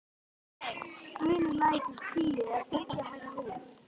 Bunulækur tíu er þriggja hæða hús.